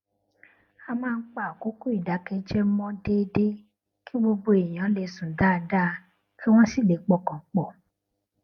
a máa ń pa àkókò ìdákéjẹẹ mọ déédéé kí gbogbo ènìyàn lè sùn dáadáa kí wón sì lè pọkàn pò